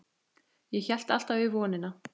Ég hélt alltaf í vonina.